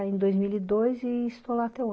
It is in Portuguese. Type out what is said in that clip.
Ai em dois mil e depois, e estou lá até hoje